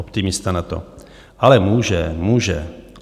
Optimista na to: "Ale může, může"!